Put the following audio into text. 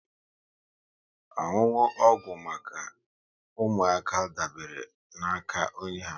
Ọṅụṅụ ọgwụ maka ụmụaka dabere na ka onye ha